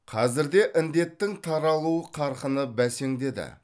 қазірде індеттің таралу қарқыны бесеңдеді